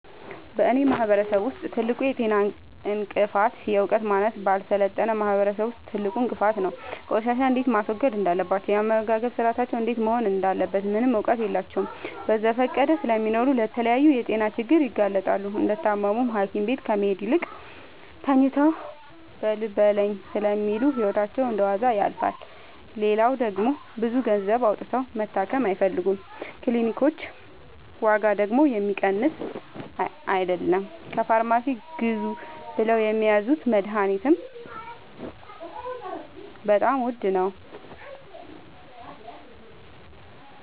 በእኔ ማህበረሰብ ውስጥ ትልቁ የጤና እንቅፍት የዕውቀት ማነስ በአልሰለጠነ ማህበረሰብ ውስጥ ትልቁ እንቅፋት ነው። ቆሻሻ እንዴት ማስወገድ እንዳለባቸው የአመጋገብ ስርአታቸው እንዴት መሆን እንዳለበት ምንም እውቀት የላቸውም በዘፈቀደ ስለሚኖሩ ለተለያየ የጤና ችግር ይጋረጥባቸዋል። እንደታመሙም ሀኪቤት ከመሄድ ይልቅ ተኝተው በልበለኝ ስለሚሉ ህይወታቸው እንደዋዛ ያልፋል። ሌላው ደግሞ ብዙ ገንዘብ አውጥተው መታከም አይፈልጉም ክኒልኮች ዋጋደግሞ የሚቀመስ አይለም። ከፋርማሲ ግዙ ብለውት የሚያዙት መደሀኒትም በጣም ውድ ነው።